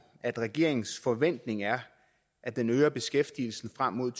at regeringens forventning er at den øger beskæftigelsen frem mod